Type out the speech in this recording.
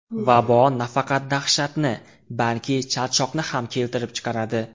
Vabo nafaqat dahshatni, balki charchoqni ham keltirib chiqaradi.